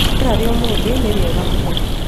Rĩera rĩa ũmũthĩ nĩrĩega mũno.